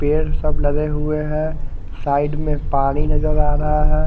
पेड़ सब लगे हुए है साइड में पानी नजर आ रहा है।